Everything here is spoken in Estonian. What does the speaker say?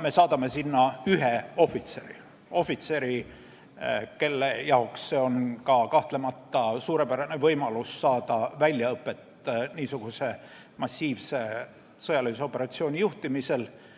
Me saadame sinna ühe ohvitseri, kelle jaoks see on kahtlemata suurepärane võimalus saada niisuguse massiivse sõjalise operatsiooni juhtimisel väljaõpet,